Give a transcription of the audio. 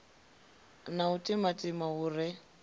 na u timatima hu re